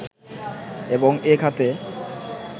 এবং এ খাতে